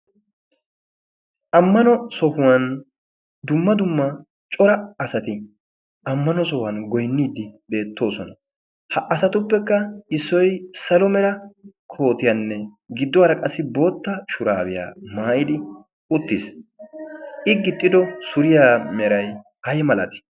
ammano sohuwan dumma dumma cora asati ammano sohuwan goinniiddi deettoosona ha asatuppekka issoi salo mera kootiyaanne giddowaara qassi bootta shuraabiyaa maayidi uttiis i gixxido suriyaa meray ay malati?